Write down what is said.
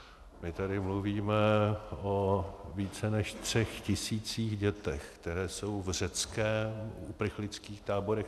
My tady mluvíme o více než třech tisících dětech, které jsou v řeckých uprchlických táborech.